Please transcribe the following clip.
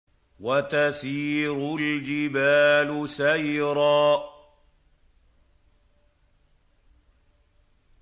وَتَسِيرُ الْجِبَالُ سَيْرًا